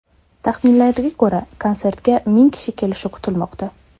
Taxminlarga ko‘ra, konsertga ming kishi kelishi kutilmoqda.